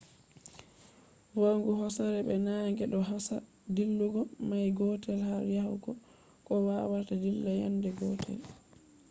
va'ugo hosere be naage ɗo hosa dillugo mail gotel har yahugo ko wawata dilla yande gotel